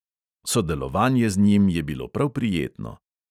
Sodelovanje z njim je bilo prav prijetno.